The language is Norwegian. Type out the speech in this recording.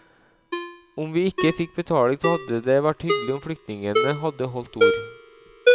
Om vi ikke fikk betaling så hadde det vært hyggelig om flyktningene hadde holdt ord.